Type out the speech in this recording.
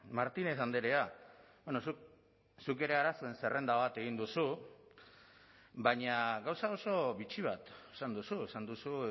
martinez andrea zuk ere arazoen zerrenda bat egin duzu baina gauza oso bitxi bat esan duzu esan duzu